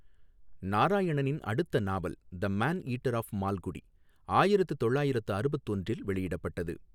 நாராயணனின் அடுத்த நாவல் the man eater of Malgudi, ஆயிரத்து தொள்ளாயிரத்து அறுபத்தொன்றில் வெளியிடப்பட்டது.